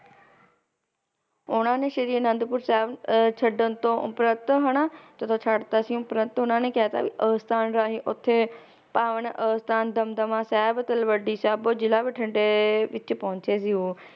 ਉਹਨਾਂ ਨੇ ਸ਼੍ਰੀ ਅਨੰਦਪੁਰ ਸਾਹਿਬ ਅਹ ਛੱਡਣ ਤੋਂ ਉਪਰੰਤ ਹਨਾ, ਜਦੋ ਛੱਡ ਦਿੱਤਾ ਸੀ ਉਪਰੰਤ ਉਹਨਾਂ ਨੇ ਕਹਿਤਾ ਵੀ ਅਸਥਾਨ ਰਾਹੀਂ ਓਥੇ ਪਾਵਨ ਅਸਥਾਨ ਦਮਦਮਾ ਸਾਹਿਬ, ਤਲਵੱਡੀ ਸਾਬੋ ਜਿਲਾ ਬਠਿੰਡੇ ਵਿੱਚ ਪਹੁੰਚੇ ਸੀ ਉਹ